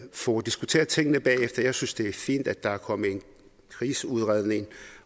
får diskuteret tingene bagefter jeg synes det er fint at der er kommet en krigsudredning